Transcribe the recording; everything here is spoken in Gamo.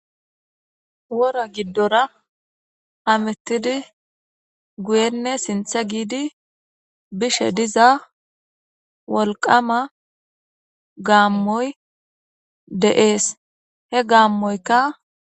wora giddora hamettidi guyenne sinththe giidi bishshe diza wolqama gaammoy de'ees he gaammoyikka